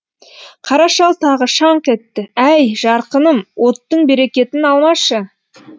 қара шал тағы шаңқ етті әй жарқыным оттың берекетін алмашы